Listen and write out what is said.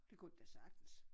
Det kunne han da sagtens